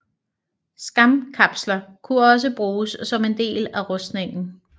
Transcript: Skamkapsler kunne også bruges som en del af rustninger